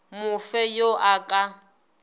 mo fe yo a ka